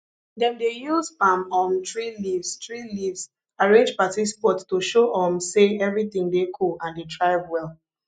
dem dey use palm um tree leaves tree leaves arrange party spot to show um say everything dey cool and dey thrive well